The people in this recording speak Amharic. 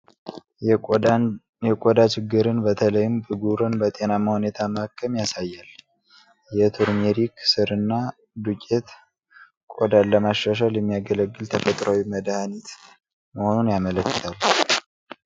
የቆዳ ችግርን በተለይም ብጉርን በጤናማ ሁኔታ ማከም ያሳያል ። የቱርሜሪክ ሥርና ዱቄት ቆዳን ለማሻሻል የሚያገለግል ተፈጥሮአዊ መድኃኒት መሆኑን ያመለክታል ።